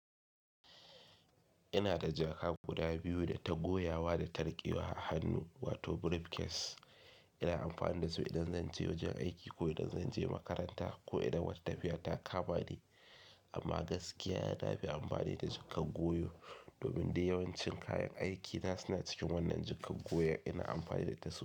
Ina da jaka guda biyu da ta goyawa da ta riƙewa a hannu wato briefcase. Ina amfani da su idan zan je wajen aiki ko idan zan je makaranta ko idan wata tafiya ta kama ni. Amma gaskiya nafi amfani da jakar goyo domin duk yawancin kayan aiki na su na cikin wannan jakar goyon ina amfani da su.